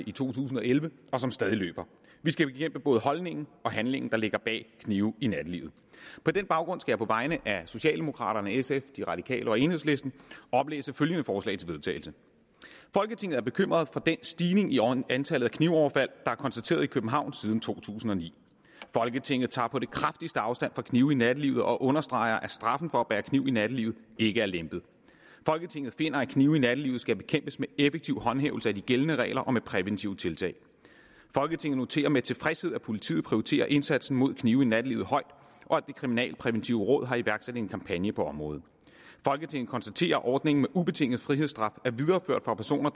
i to tusind og elleve og som stadig løber vi skal bekæmpe både holdningen og handlingen der ligger bag knive i nattelivet på den baggrund skal jeg på vegne af socialdemokraterne sf de radikale og enhedslisten oplæse følgende forslag til vedtagelse folketinget er bekymret for den stigning i antallet af knivoverfald der er konstateret i københavn siden to tusind og ni folketinget tager på det kraftigste afstand fra knive i nattelivet og understreger at straffen for at bære kniv i nattelivet ikke er lempet folketinget finder at knive i nattelivet skal bekæmpes med effektiv håndhævelse af de gældende regler og med præventive tiltag folketinget noterer sig med tilfredshed at politiet prioriterer indsatsen mod knive i nattelivet højt og at det kriminalpræventive råd har iværksat en kampagne på området folketinget konstaterer at ordningen med ubetinget frihedsstraf